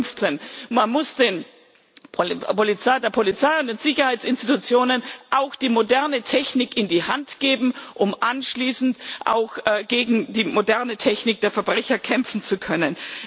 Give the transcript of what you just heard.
2016. Man muss der Polizei und den Sicherheitsinstitutionen die moderne Technik in die Hand geben, um anschließend auch gegen die moderne Technik der Verbrecher kämpfen zu können.